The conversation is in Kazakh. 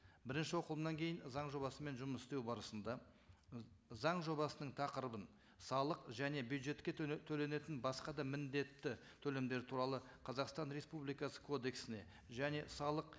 бірінші оқылымнан кейін заң жобасымен жұмыс істеу барысында заң жобасының тақырыбын салық және бюджетке төленетін басқа да міндетті төлемдер туралы қазақстан республикасы кодексіне және салық